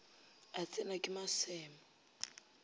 a tsenwa ke maseme a